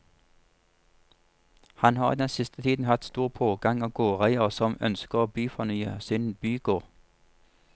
Han har i den siste tiden hatt stor pågang av gårdeiere som ønsker å byfornye sin bygård.